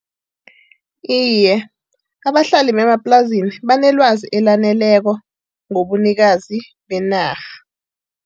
Iye, abahlali bemaplasini banelwazi elaneleko ngobunikazi benarha.